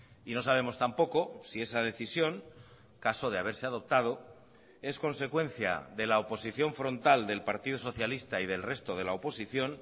y no sabemos tampoco si esa decisión caso de haberse adoptado es consecuencia de la oposición frontal del partido socialista y del resto de la oposición